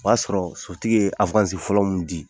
O y'a sɔrɔ sotigi ye fɔlɔ mu di